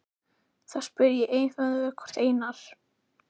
ÆTLARÐU AÐ VERA Í ÞESSUM SOKKUM?